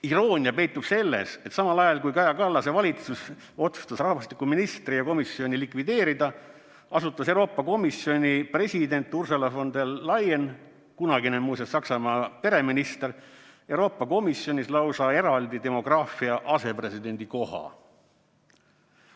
Iroonia peitub selles, et samal ajal kui Kaja Kallase valitsus otsustas rahvastikuministri ja komisjoni likvideerida, asutas Euroopa Komisjoni president Ursula von der Leyen, muuseas kunagine Saksamaa pereminister, Euroopa Komisjonis lausa eraldi demograafia asepresidendi koha.